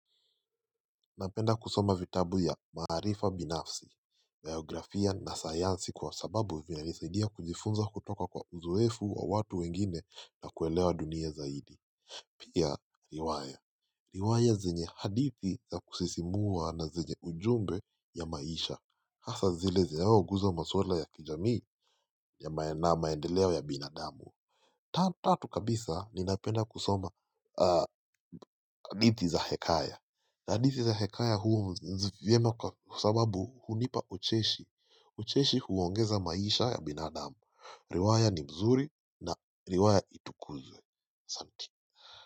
Napenda kusoma vitabu ya maharifa binafsi, biografia na sayansi kwa sababu vina nisaidia kujifunza kutoka kwa uzoefu wa watu wengine na kuelewa dunia zaidi. Pia, riwaya. Riwaya zenye hadithi za kusisimua na zenye ujumbe ya maisha. Hasa zile zinayo gusa maswala ya kijamii na maendeleo ya binadamu. Tatu kabisa, ninapenda kusoma hadithi za hekaya. Hadithi za hekaya huru vyema kwa sababu hunipa ucheshi ucheshi huongeza maisha ya binadamu riwaya ni mzuri na riwaya itukuzwe.